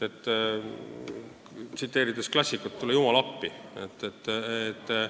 Tsiteerin klassikut: "Tule jumal appi!